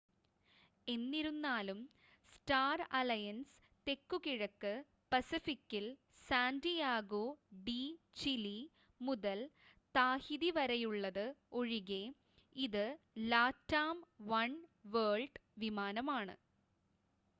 എന്നിരുന്നാലും Star Alliance തെക്കുകിഴക്ക് പസഫിക്കിൽ സാൻ്റിയാഗോ ഡീ ചിലി മുതൽ താഹിതിവരെയുള്ളത് ഒഴികെ ഇത് ലാറ്റാം വൺവേൾഡ് വിമാനമാണ്